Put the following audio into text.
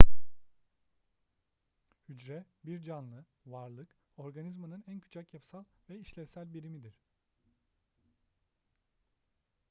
hücre bir canlı varlık organizmanın en küçük yapısal ve işlevsel birimidir